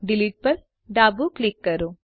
delete પર ડાબું click કરો